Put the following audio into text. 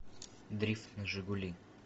дрифт на жигули